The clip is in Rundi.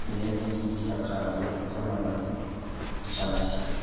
bimeze nk'ivyisakaye, vy'amababi y'icatsi.